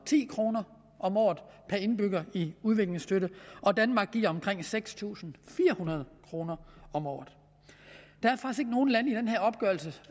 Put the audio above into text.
ti kroner om året per indbygger i udviklingsstøtte og danmark giver omkring seks tusind fire hundrede kroner om året der